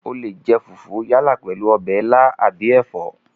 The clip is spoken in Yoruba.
O leè jẹ fùfú yálà pèlú ọbẹ̀ ilá àbí ẹ̀fọ́